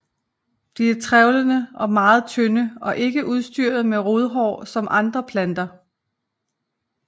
De er trævlede og meget tynde og ikke udstyret med rodhår som andre planter